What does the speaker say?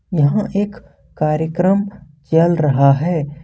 यहां एक कार्यक्रम चल रहा है।